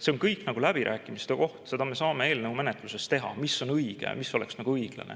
See on kõik läbirääkimiste koht ja seda me saame eelnõu menetlusel arutada, mis on õige, mis oleks nagu õiglane.